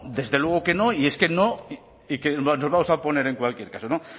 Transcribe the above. desde luego que no y que nos vamos a oponer en cualquier caso no